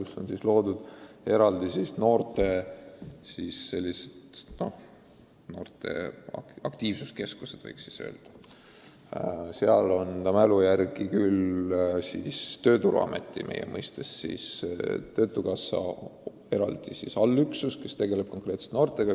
Seal on loodud eraldi noorte nn aktiivsuskeskused ja kui ma õigesti mäletan, siis on seal olemas meie mõistes töötukassa eraldi allüksus, kes tegeleb konkreetselt noortega.